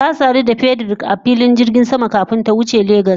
Ta sadu da Frederick a filin jirgin sama kafin ta wuce Lagos.